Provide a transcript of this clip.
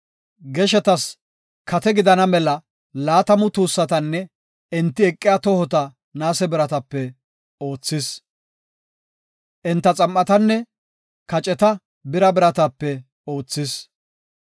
Geshetas kate gidana mela laatamu tuussatanne enti eqiya tohota naase biratape oothis. Enta xam7atanne kaceta bira biratape oothis.